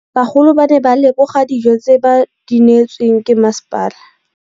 Bagolo ba ne ba leboga dijô tse ba do neêtswe ke masepala.